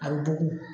A bɛ dogo